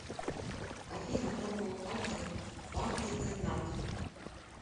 афина формула кальция пантотенат